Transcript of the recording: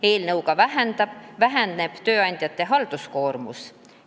Eelnõuga väheneb tööandjate halduskoormus.